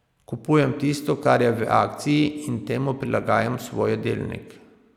Kupujem tisto, kar je v akciji, in temu prilagajam svoj jedilnik.